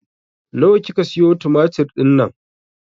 Nawa kika siyo tumatir dinnan?